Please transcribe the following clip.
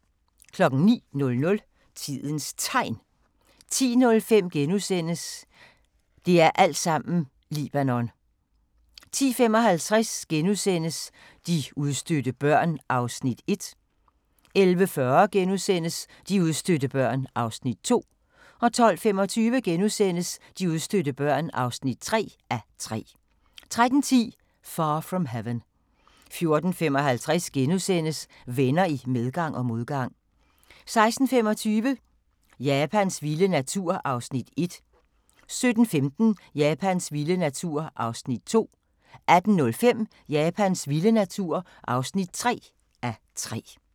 09:00: Tidens Tegn 10:05: Det er altsammen Libanon * 10:55: De udstødte børn (1:3)* 11:40: De udstødte børn (2:3)* 12:25: De udstødte børn (3:3)* 13:10: Far from Heaven 14:55: Venner i medgang og modgang * 16:25: Japans vilde natur (1:3) 17:15: Japans vilde natur (2:3) 18:05: Japans vilde natur (3:3)